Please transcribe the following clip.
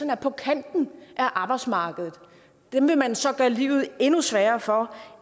er på kanten af arbejdsmarkedet dem vil man så gøre livet endnu sværere for